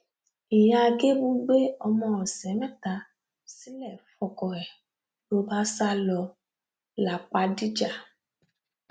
ìyá gébù gbé ọmọ ọsẹ mẹta sílẹ fọkọ ẹ ló bá sá lọ lápàdíjà